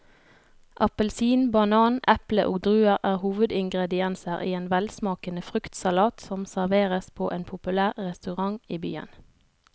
Appelsin, banan, eple og druer er hovedingredienser i en velsmakende fruktsalat som serveres på en populær restaurant i byen.